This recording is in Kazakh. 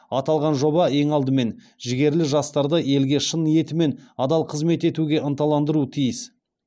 аталған жоба ең алдымен жігерлі жастарды елге шын ниетімен адал қызмет етуге ынталандыруы тиіс